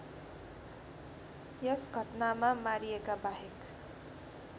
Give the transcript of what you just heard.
यस घटनामा मारिएकाबाहेक